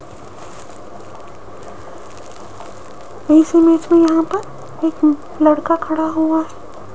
इस इमेज में यहां पर एक लड़का खड़ा हुआ --